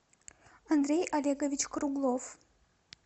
андрей олегович круглов